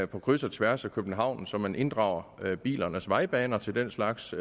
på kryds og tværs af københavn så man inddrager bilernes vejbaner til den slags